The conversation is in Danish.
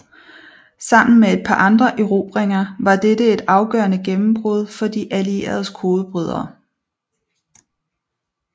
Sammen med et par andre erobringer var dette et afgørende gennembrud for De Allieredes kodebrydere